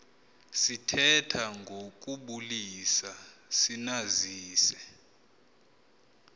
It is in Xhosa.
sithetha ngokubulisa sinazise